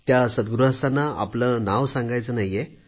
त्या सद्गृहस्थांना आपले नाव सांगायचे नव्हते